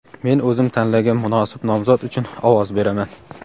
Men o‘zim tanlagan munosib nomzod uchun ovoz beraman!.